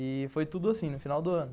E foi tudo assim, no final do ano.